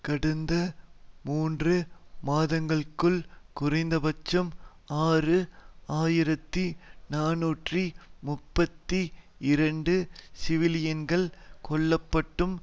கடந்த மூன்று மாதங்களுக்குள் குறைந்தபட்சம் ஆறு ஆயிரத்தி நாநூற்று முப்பத்தி இரண்டு சிவிலியன்கள் கொல்லப்பட்டும்